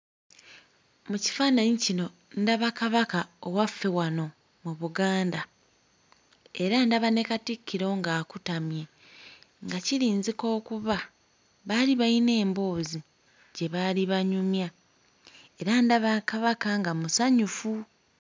Mu kifaananyi kino ndaba Kabaka owaffe wano mu Buganda era ndaba ne Katikkiro ng'akutamye nga kirinzika okuba baali balina emboozi gye baali banyumya era ndaba Kabaka nga musanyufu.